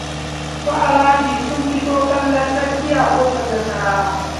Su Alhaji sun fito kallon hawan sarki a ƙofar Nasarawa